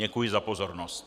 Děkuji za pozornost.